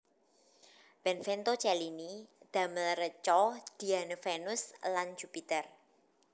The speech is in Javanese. Benvenuto Cellini damel reca Diane Vénus lan Jupiter